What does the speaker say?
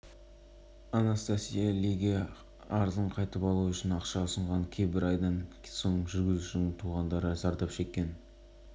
түсті жазбада көлік аулаға кіріп келе жатқанда көлік тоқтайтын жаққа бұрылған тұста бала атып шығады